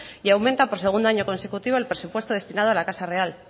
y aumenta por segundo año consecutivo el presupuesto destinado a la casa real